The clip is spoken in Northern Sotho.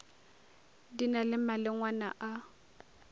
di na le malengwana a